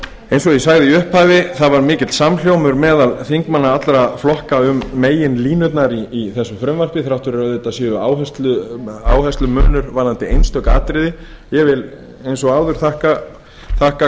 ég sagði í upphafi var mikill samhljómur meðal þingmanna allra flokka um meginlínurnar í þessu frumvarpi þrátt fyrir að auðvitað sé áherslumunur varðandi einstök atriði ég vil eins og áður þakka